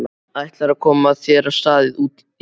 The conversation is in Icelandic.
Ætlarðu að koma þér af stað út í búð?